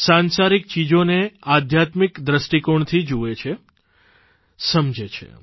સાંસારિક ચીજોને આધ્યાત્મિક દ્રષ્ટકોણથી જુએ છે સમજે છે